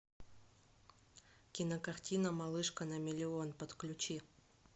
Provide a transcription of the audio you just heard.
кинокартина малышка на миллион подключи